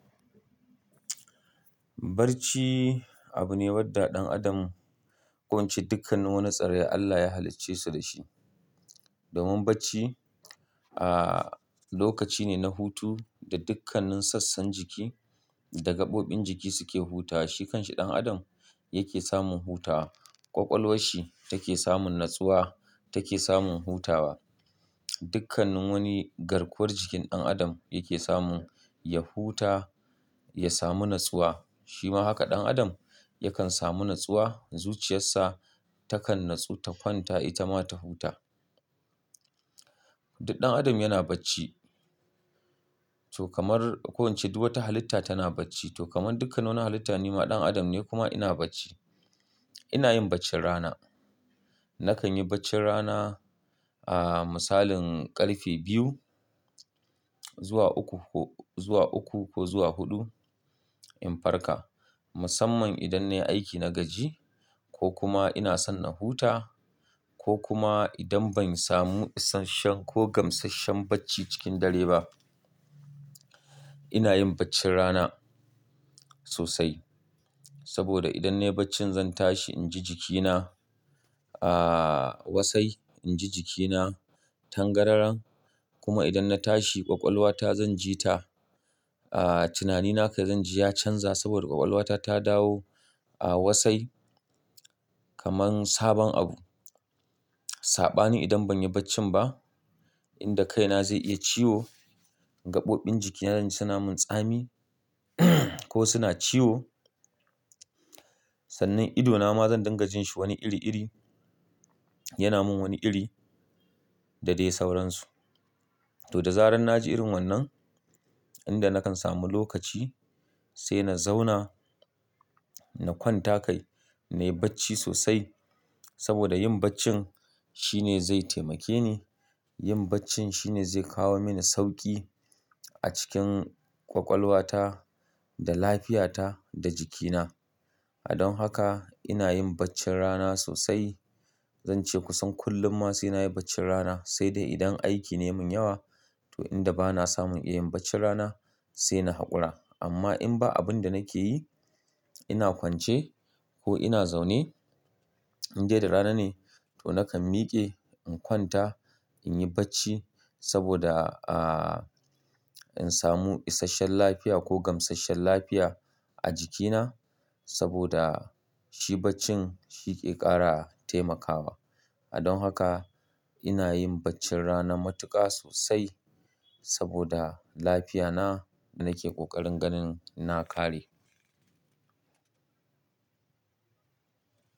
Barci abu ne wadda ɗan adam ko ince dukkan nin wani tsirrai Allah ya halicce su dashi. Domin bacci, aaa, lokaci ne na hutu da dukkanin sassan jiki da gaɓoɓin jiki suke hutawa. Shikan shi ɗan adam yake samun hutawa, kwakwalwashi take samun natsuwa take samun hutawa. Dukkanin wani garkuwar jikin ɗan adam yake samun ya huta, ya samu natsuwa. Shima haka ɗan adam yakan samu natsuwa, zuciyarsa takan natsu ta kwanta ita ma ta huta. Duk ɗan adam yana bacci. To kamar ko ince duk wata halitta tana bacci. To kamar dukkanin wani halitta ni ma ɗan adam ne kuma ina bacci. Ina yin baccin rana. Nakan yi baccin rana, aaaa, misalin ƙarfe biyu zuwa uku ko, zuwa uku ko zuwa huɗu in farka. Musamman idan nayi aiki na gaji ko kuma ina son na huta ko kuma idan ban samu isashshen ko gamsasshen bacci cikin dare ba. Ina yin baccin rana sosai. Saboda idan nayi bacci zan tashi inji jikina, aaaa, wasai inji jikina tangararan kuma idan na tashi kwakwalwata zan ji ta, aaaa, tunanina kai zan ji ya canza saboda kwakwalwata ta dawo a wasai kaman sabon abu. Saɓani idan ban yi baccin ba, inda kaina zai iya ciwo, gaɓoɓin jikina zanji suna min tsami ko suna ciwo. Sannan idona ma zan dinga jin shi wani iri iri. Yana min wani iri da dai sauransu. To da zarar na ji irin wannan, inda nakan samu lokaci sai na zauna na kwanta kai, na yi bacci sosai saboda yin baccin shine zai taimake ni. Yin bacci shine zai kawo mini sauƙi a cikin ƙwaƙwalwata da lafiyata da jikina. Don haka ina yin baccin rana sosai. Zance kusan kullum ma sai na yi baccin rana sai dai idan aiki ne ya mun yawa to inda ba na samun iya yin bacci rana sai na haƙura. Amma in ba abun da nake yi ina kwance ko ina zaune in dai da rana ne to nakan miƙe in kwanta in yi bacci saboda, aaaa, in samu isashen lafiya ko gamsasshen lafiya a jikina saboda shi bacci shi ke ƙara taimakawa. Don haka ina yin baccin rana matuƙa sosai saboda lafiyana da nake ƙoƙarin ganin na kare.